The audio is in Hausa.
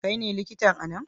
Kai ne likitan a nan?